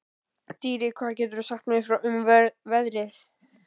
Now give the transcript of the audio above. Dýri, hvað geturðu sagt mér um veðrið?